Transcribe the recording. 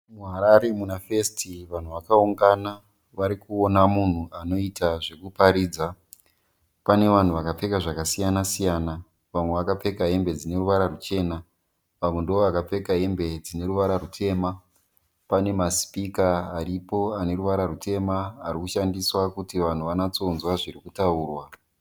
MuHarare muna festi vanhu vakawungana varikuona munhu anoita zvekuparidza. Pane vanhu vakapfeka zvakasiyana siyana. Vamwe vakapfeka hembe dzine ruvara ruchena vamwe ndoo vakapfeka hembe dzine ruvara rutema. Pane masipika aripo ane ruvara rwutema arikushandiswa kuti vanhu vanyatsonzwa zviri kutaurwa.